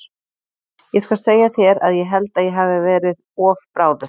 Ég skal segja þér að ég held að ég hafi verið of bráður.